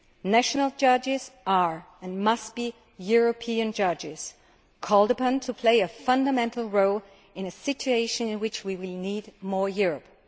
National judges are, and must be, European judges, called upon to play a fundamental role in a situation in which we will need more Europe.